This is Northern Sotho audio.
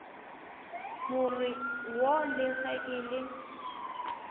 more wo le ge e